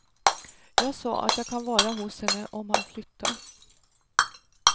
Jag sa att jag kan vara hos henne om han flyttar.